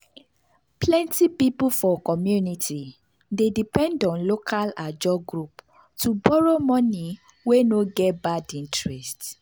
plenty people for community dey depend on local ajo group to borrow money wey no get bad interest.